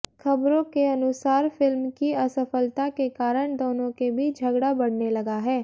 खबरों के अनुसार फिल्म की असफलता के कारण दोनों के बीच झगड़ा बढ़ने लगा है